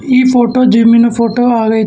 ಈ ಫೋಟೋ ಜಿಮ್ಮಿನ ಫೋಟೋ ಆಗೈತ್ --